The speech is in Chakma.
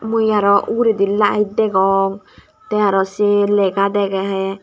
mui aro uguredi lite degong tey araw se lega degey.